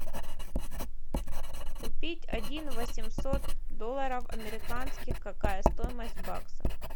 купить один восемьсот долларов американских какая стоимость в баксах